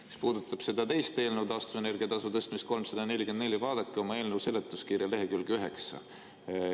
Mis puudutab seda teist eelnõu, taastuvenergia tasu tõstmist, 344, siis vaadake oma eelnõu seletuskirja lehekülge 9.